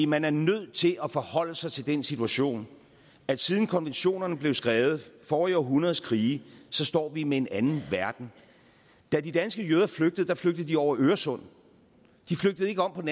man er nødt til at forholde sig til den situation at siden konventionerne blev skrevet forrige århundredes krige står vi med en anden verden da de danske jøder flygtede flygtede de over øresund de flygtede ikke om på